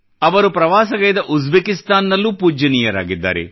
ಅವರು ಪ್ರವಾಸಗೈದ ಉಜ್ಬೇಕಿಸ್ತಾನ್ ನಲ್ಲೂ ಪೂಜ್ಯನೀಯರಾಗಿದ್ದಾರೆ